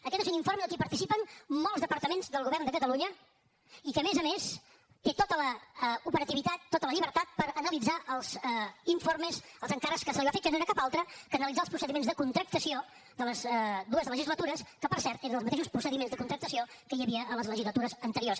aquest és un informe en el que participen molts departaments del govern de catalunya i que a més a més té tota l’operativitat tota la llibertat per analitzar els informes i els encàrrecs que se li van fer que no eren altres que analitzar els procediments de contractació de les dues legislatures que per cert eren els mateixos procediments de contractació que hi havia a les legislatures anteriors